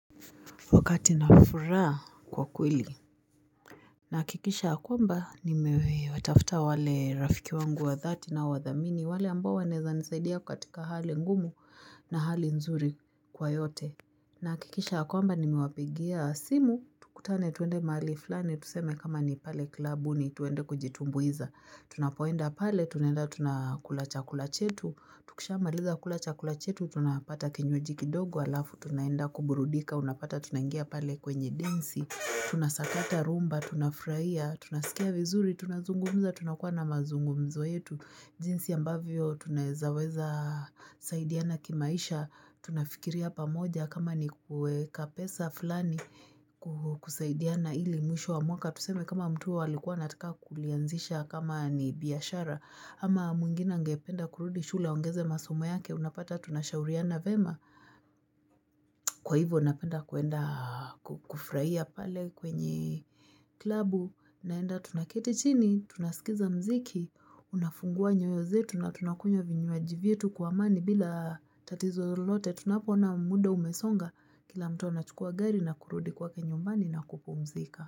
Wakati nafuraha kwa kweli nakikisha yakwamba nimewe watafuta wale rafiki wangu wa dhati na wadhamini wale ambo waneza nisaidia katika hali ngumu na hali nzuri kwa yote na hakikisha yakwamba nimewapigia simu, tukutane tuende mali flani, tuseme kama ni pale klabuni, twende kujitumbuiza, tunapoenda pale, tunenda tunakula chakula chetu, tukishamaliza kula chakula chetu, tunapata kinywaji kidogo halafu, tunenda kuburudika, unapata tunengia pale kwenye densi, tunasakata rumba, tunafurahia, tunasikia vizuri, tunazungumza, tunakuwa na mazungumzo yetu, jinsi ambavyo, tunaeza weza saidiana kimaisha, tunafikiri pamoja, kama ni kueka pesa fulani kusaidiana ili mwisho wa mwaka, tuseme kama mtu alikua anataka kuianzisha kama ni biashara ama mwingine angependa kurudi shule aongeze masumo yake unapata tunashauriana vema Kwa hivo napenda kuenda kufurahia pale kwenye klabu. Naenda tunaketi chini, tunasikiza mziki, unafungua nyoyo zetu na tunakunwa vinywaji vietu kwa amani bila tatizo lote tunapo ona muda umesonga kila mtu anachukua gari na kurudi kwake nyumbani na kupumzika.